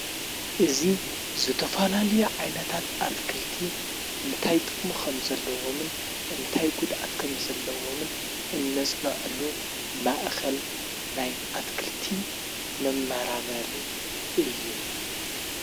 እዙ ዝተፈላልዮ ዓይነታት ኣትክልቲ እንታይ ጠሞ ኸም ዘለዎምን እንታይ ጕድኣት ከም ዘለዎምን እነጽንዐሉ ማእኸል ናይ ኣትክልቲ መመራመሪ እዩ።